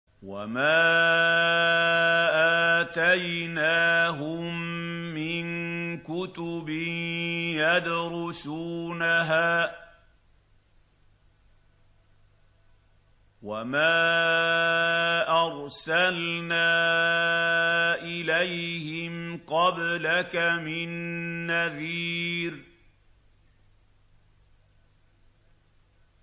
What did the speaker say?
وَمَا آتَيْنَاهُم مِّن كُتُبٍ يَدْرُسُونَهَا ۖ وَمَا أَرْسَلْنَا إِلَيْهِمْ قَبْلَكَ مِن نَّذِيرٍ